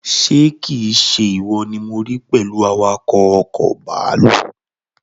Ṣé kii se ìwọ ni mo rí pẹ̀lú awakọ̀ ọkọ̀ bàálù?